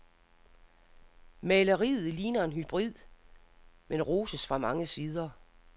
Maleriet ligner en hybrid, men roses fra mange sider.